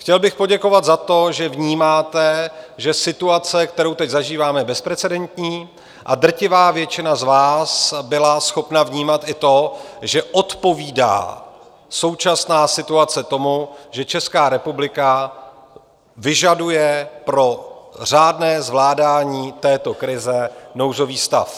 Chtěl bych poděkovat za to, že vnímáte, že situace, kterou teď zažíváme, je bezprecedentní, a drtivá většina z vás byla schopna vnímat i to, že odpovídá současná situace tomu, že Česká republika vyžaduje pro řádné zvládání této krize nouzový stav.